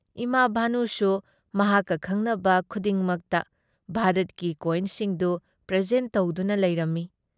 ꯏꯃꯥ ꯚꯥꯅꯨꯁꯨ ꯃꯍꯥꯛꯀ ꯈꯪꯅꯕ ꯈꯨꯗꯤꯡꯃꯛꯇ ꯚꯥꯔꯠꯀꯤ ꯀꯣꯏꯟꯁꯤꯡꯗꯨ ꯄ꯭ꯔꯦꯖꯦꯟꯠ ꯇꯧꯗꯨꯅ ꯂꯩꯔꯝꯃꯤ ꯫